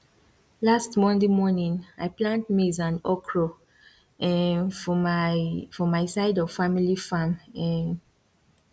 last monday morning i plant maize and okro um for my for my side of family farm um